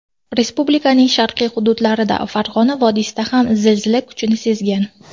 Respublikaning sharqiy hududlarida, Farg‘ona vodiysida ham zilzila kuchini sezgan.